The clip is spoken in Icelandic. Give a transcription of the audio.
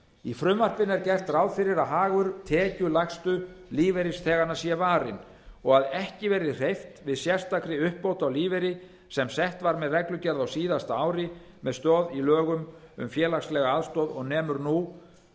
í frumvarpinu er gert ráð fyrir að hagur tekjulægstu lífeyrisþeganna sé varinn og að ekki verði hreyft við sérstakri uppbót á lífeyri sem sett var með reglugerð á síðasta ári með stoð í lögum um félagslega aðstoð og nemur nú